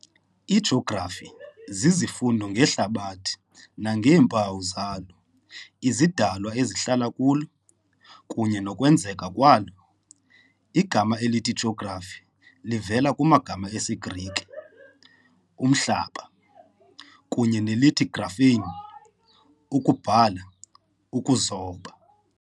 IJografi zizifundo ngeHlabathi nangeempawu zalo, izidalwa ezihlala kulo, kunye nokwenzeka kwalo. Igama elithi jografi livela kumagama esiGrike Umhlaba kunye nelithi graphein ukubhala, ukuzoba.